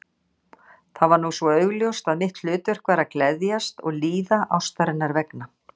Það var nú svo augljóst að mitt hlutverk var að gleðjast og líða ástarinnar vegna.